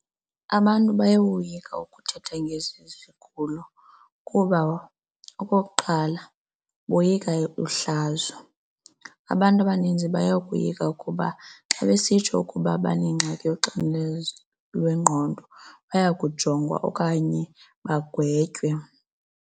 Abantu bayoyika ukuthetha ngezi zigulo kuba okokuqala boyika uhlazo. Abantu abaninzi bayakoyika ukuba xa besitsho ukuba banengxaki yoxinezelo lwengqondo baya kujongwa okanye bagwetwe.